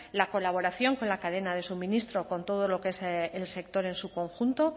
la colaboración con la cadena de suministro con todo lo que el sector en su conjunto